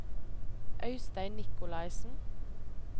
Øistein Nicolaisen